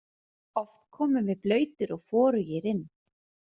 Oft komum við blautir og forugir inn.